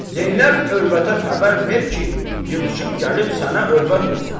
Zeynəb övrətə xəbər ver ki, yığışıb gəlib sənə övrət olsun.